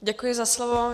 Děkuji za slovo.